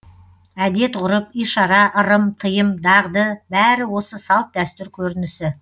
әдет ғұрып ишара ырым тыйым дағды бәрі осы салт дәстүр көрінісі